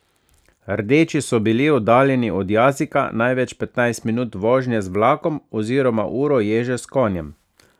Rdeči so bili oddaljeni od Jazika največ petnajst minut vožnje z vlakom oziroma uro ježe s konjem.